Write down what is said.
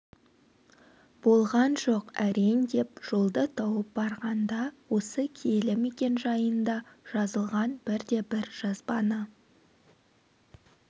болған жоқ әрең деп жолды тауып барғанда осы киелі мекен жайында жазылған бірде бір жазбаны